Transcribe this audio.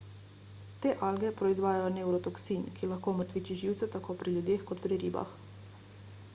te alge proizvajajo nevrotoksin ki lahko omrtviči živce tako pri ljudeh kot pri ribah